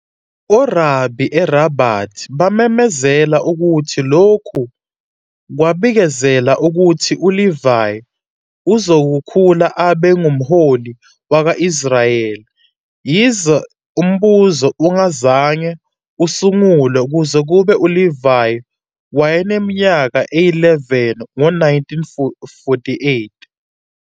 Orabi eRabat bamemezela ukuthi lokhu kwabikezela ukuthi uLevy uzokhula abe "ngumholi wakwa-Israyeli", yize uMbuso ungazange usungulwe kuze kube uLevy wayeneminyaka eyi-11, ngo-1948.